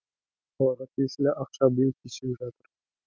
оларға тиесілі ақша биыл кешігіп жатыр